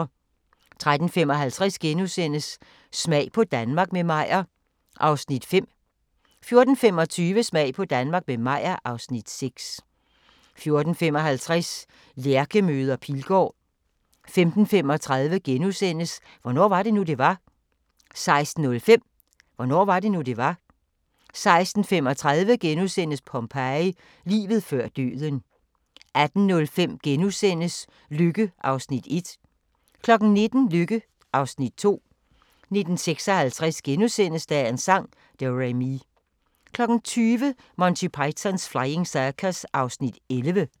13:55: Smag på Danmark – med Meyer (Afs. 5)* 14:25: Smag på Danmark – med Meyer (Afs. 6) 14:55: Lærke møder Ulf Pilgaard 15:35: Hvornår var det nu, det var? * 16:05: Hvornår var det nu, det var? 16:35: Pompeii – Livet før døden * 18:05: Lykke (1:18)* 19:00: Lykke (2:18) 19:56: Dagens sang: Do-re-mi * 20:00: Monty Python's Flying Circus (11:45)